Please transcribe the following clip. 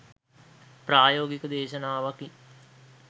ප්‍රායෝගික දේශනාවකි